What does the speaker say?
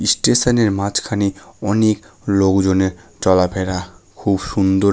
ইস্টিশন -এর মাঝখানে অনেক লোকজনের চলাফেরা খুব সুন্দর--